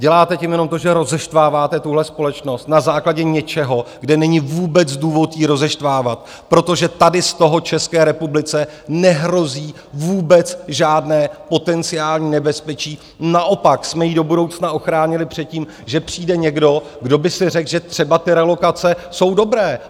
Děláte tím jenom to, že rozeštváváte tuhle společnost na základě něčeho, kde není vůbec důvod ji rozeštvávat, protože tady z toho České republice nehrozí vůbec žádné potenciální nebezpečí, naopak jsme ji do budoucna ochránili před tím, že přijde někdo, kdo by si řekl, že třeba ty relokace jsou dobré.